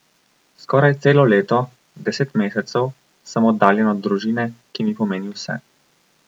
Skoraj celo leto, deset mesecev, sem oddaljen od družine, ki mi pomeni vse.